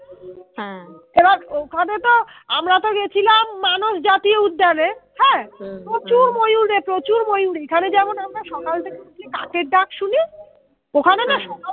এবার ওখানে তো আমরা তো গেছিলাম মানুষ জাতীয় উদ্যানে হ্যা হা হা প্রচুর ময়ূর রে প্রচুর ময়ূর এখানে যেমন সকাল থেকে উঠলে কাকের ডাক শুনি ওখানে না সকাল